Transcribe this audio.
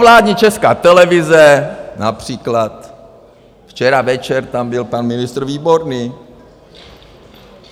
Provládní Česká televize, například včera večer tam byl pan ministr Výborný.